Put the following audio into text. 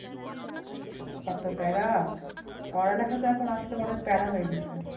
এত প্যারা পড়ালেখা তো এখন আজকাল অনেক প্যারা হয়ে গিয়েসে।